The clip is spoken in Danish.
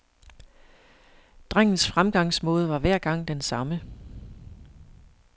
Drengens fremgangsmåde var hver gang den samme.